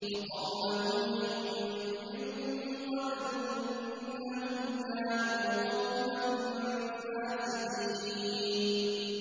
وَقَوْمَ نُوحٍ مِّن قَبْلُ ۖ إِنَّهُمْ كَانُوا قَوْمًا فَاسِقِينَ